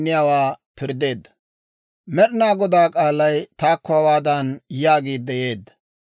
Med'inaa Godaa k'aalay taakko hawaadan yaagiidde yeedda;